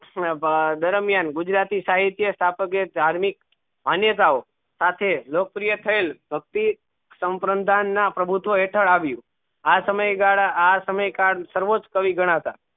દરમિયાન ગુજરાતી સાહિત્ય ધાર્મિક અન્ય્તાઓ સાતેહ લોકપ્રિય થયેલ ભક્તિ સમ્પ્રંતન ના પ્રભ્ત્વ એતાળ આવ્યું આ સમય ગાળા આ સમય સર્વોચ ક્વી ગનાતા